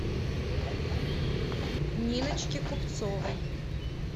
ниночки купцовой